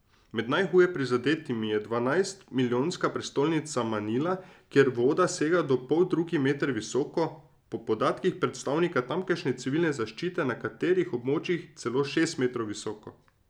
Med najhuje prizadetimi je dvanajstmilijonska prestolnica Manila, kjer voda sega do poldrugi meter visoko, po podatkih predstavnika tamkajšnje civilne zaščite na nekaterih območjih celo šest metrov visoko.